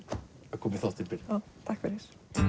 að koma í þáttinn Brynja takk fyrir